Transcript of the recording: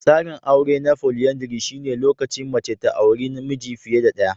Tsarin aure na folyandry shine lokacin mace ta auri miji fiye da ɗaya.